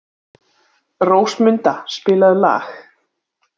Rósmunda, spilaðu lag.